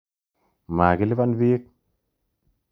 Makilipan piik.